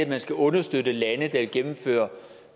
at man skal understøtte lande der vil gennemføre